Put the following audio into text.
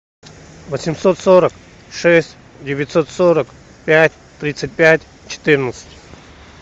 восемьсот сорок шесть девятьсот сорок пять тридцать пять четырнадцать